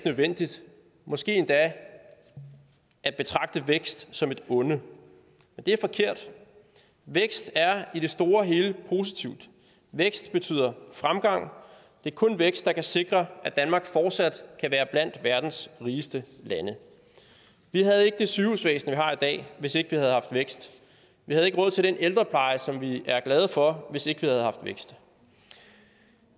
nødvendigt måske endda at betragte vækst som et onde og det er forkert vækst er i det store hele positivt vækst betyder fremgang det er kun vækst der kan sikre at danmark fortsat kan være blandt verdens rigeste lande vi havde ikke det sygehusvæsen vi har i dag hvis ikke vi havde haft vækst vi havde ikke råd til den ældrepleje som vi er glade for hvis ikke vi havde haft vækst